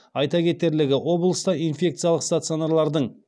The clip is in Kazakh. айта кетерлігі облыста инфекциялық стационалардың